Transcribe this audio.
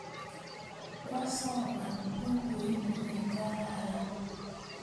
Kwasoman pukuit ne kararan